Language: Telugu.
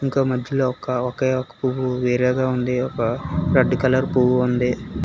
ఇంకా మద్యలో ఒక ఒకే ఒక పువ్వు వేరేగా ఉంది ఒక రేడ్ కలర్ పువ్వు ఉంది.